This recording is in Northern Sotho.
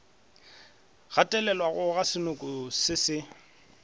gatelelwa ga senoko se se